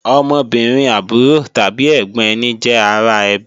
Ọmọbìnrin àbúrò tàbí ẹ̀gbọ̀n ẹni jẹ́ ara ẹbí